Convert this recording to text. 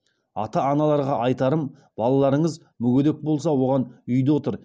ата аналарға айтарым балаларыңыз мүгедек болса оған үйде отыр